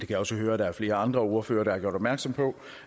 kan også høre at der er flere andre ordførere der har gjort opmærksom på